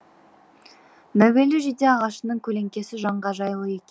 мәуелі жиде ағашының көлеңкесі жанға жайлы екен